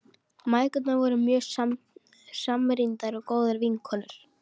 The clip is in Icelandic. Mæðgurnar voru mjög samrýndar og góðar vinkonur.